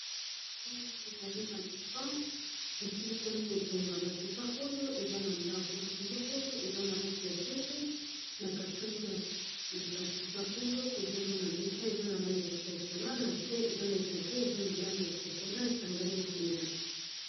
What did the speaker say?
Awa ezali ba divan e silisami ko tongama, ba divan oyo eza na ndako, ba divan oyo eza na langi ya pembe, na katikati ya ba divan oyo tozo mona mesa eza na langi ya chocola pona na se eza na etoko, eza na langi ya cho cola, pona e sangani na pembe .